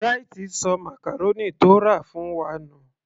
Bright sọ màcàrónì tó rà fún wa nù